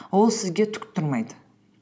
ол сізге түк тұрмайды